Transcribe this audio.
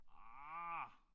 Ah